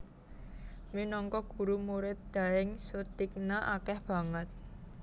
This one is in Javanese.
Minangka guru Murid Daeng Soetigna akeh banget